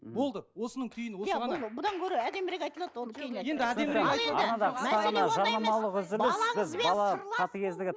болды осының түйіні осы ғана иә ол бұдан гөрі әдемірек айтылады оны кейін айтып беремін